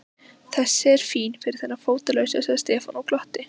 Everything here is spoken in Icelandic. Þessi er fín fyrir þennan fótalausa sagði Stefán og glotti.